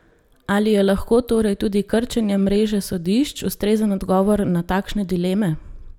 Ali je lahko torej tudi krčenje mreže sodišč ustrezen odgovor na takšne dileme?